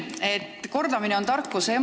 Hea Jüri, kordamine on tarkuse ema.